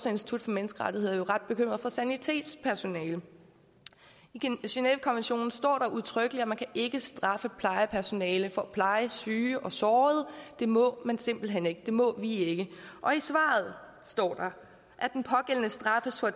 institut for menneskerettigheder jo er ret bekymrede for sanitetspersonale i genèvekonventionen står der udtrykkeligt at man ikke kan straffe plejepersonale for at pleje syge og sårede det må man simpelt hen ikke det må vi ikke og i svaret står der at den pågældende straffes for at